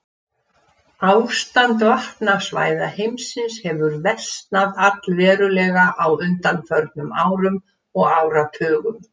Ástand vatnasvæða heimsins hefur versnað allverulega á undanförnum árum og áratugum.